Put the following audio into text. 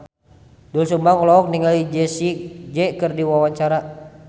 Doel Sumbang olohok ningali Jessie J keur diwawancara